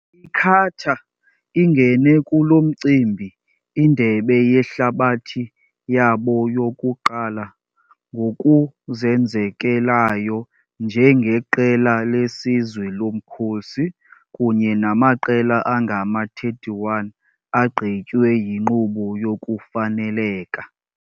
I-Qatar ingene kulo mcimbi-iNdebe yeHlabathi yabo yokuqala-ngokuzenzekelayo njengeqela lesizwe lomkhosi, kunye namaqela angama-31 agqitywe yinkqubo yokufaneleka.